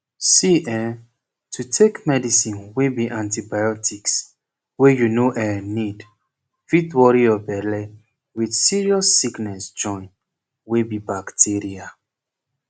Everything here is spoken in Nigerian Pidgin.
see eeh to take medicine wey be antibiotics wey you no eh need fit worry your belle with serious sickness join wey be bacteria